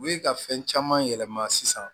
U ye ka fɛn caman yɛlɛma sisan